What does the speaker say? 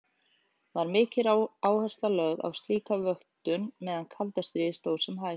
Var mikil áhersla lögð á slíka vöktun meðan kalda stríði stóð sem hæst.